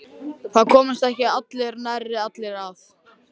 Það komast ekki nærri allir að.